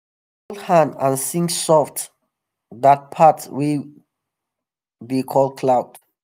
we fold hand and sing soft that part wey dey call cloud.